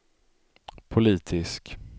politisk